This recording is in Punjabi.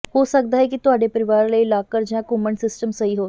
ਹੋ ਸਕਦਾ ਹੈ ਕਿ ਤੁਹਾਡੇ ਪਰਿਵਾਰ ਲਈ ਲਾਕਰ ਜਾਂ ਘੁੰਮਣ ਸਿਸਟਮ ਸਹੀ ਹੋਵੇ